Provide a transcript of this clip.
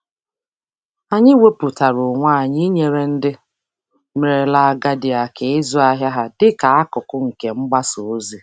Anyị wepụtara onwe anyị inyere ndị merela agadi aka ịzụ ahịa ha dị ka akụkụ nke mgbasa ozi.